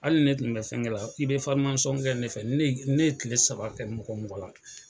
Ali ne kun be fɛngɛ la i be fɔrimasɔn kɛ ne fɛ ni ne ni ne ye kile saba kɛ mɔgɔ mɔgɔ la